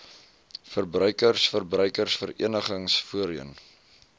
verbruikers verbruikersverenigings voorheen